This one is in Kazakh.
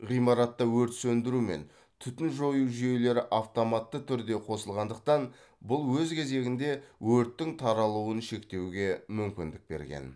ғимаратта өрт сөндіру мен түтін жою жүйелері автоматты түрде қосылғандықтан бұл өз кезегінде өрттің таралуын шектеуге мүмкіндік берген